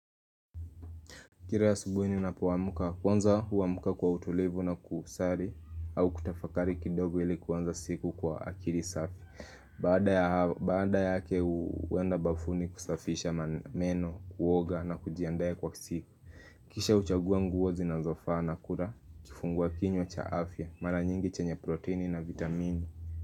Kira asubuhi ninapoamuka kwanza huamuka kwa utulivu na kusari au kutafakari kidogo ilikuanza siku kwa akiri safi Baada yake huenda bafuni kusafisha meno kuoga na kujiandaa kwa siku Kisha huchagua nguo zinazofaa na kula kifungua kinywa cha afya mara nyingi chenye proteini na vitamini.